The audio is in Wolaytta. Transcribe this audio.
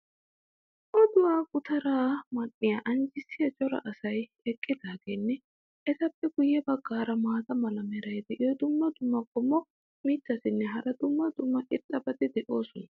oduwaa gutaraa man'iya anjjisiya cora asay eqqidaageenne etappe guye bagaara maata mala meray diyo dumma dumma qommo mitattinne hara dumma dumma irxxabati de'oosona.